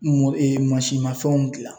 mafɛnw gilan